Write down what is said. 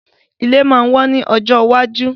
Ilé máa wón ní ọjọ́ iwájú